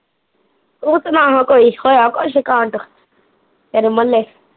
ਤੂੰ ਸੁਣਾ ਹਾਂ ਕੋਈ ਹੋਇਆ ਕੁਸ਼ ਕਾਂਡ ਤੇਰੇ ਮੁਹੱਲੇ